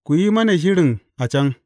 Ku yi mana shirin a can.